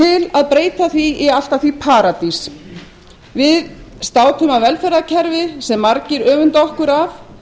að breyta því í allt að því paradís við státum af velferðarkerfi sem margir öfunda okkur af